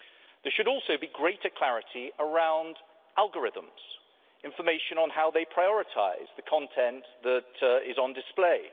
There should also be greater clarity around algorithms and information on how they prioritise the content that is on display.